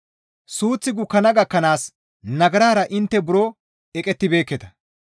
Suuththi gukkana gakkanaas nagarara intte buro eqettibeekketa.